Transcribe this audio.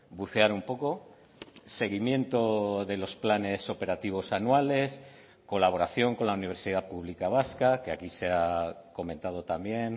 bucear un poco seguimiento de los planes operativos anuales colaboración con la universidad pública vasca que aquí se ha comentado también